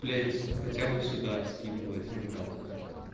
блять хотя бы сюда скинул один раз блять